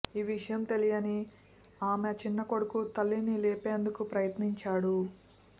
ఈ విషయం తెలియని ఆమె చిన్న కొడుకు తల్లిని లేపేందుకు ప్రయత్నించాడు